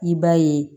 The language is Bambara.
I b'a ye